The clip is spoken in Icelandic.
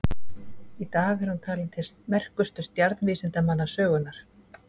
Í dag er hún talin til merkustu stjarnvísindamanna sögunnar.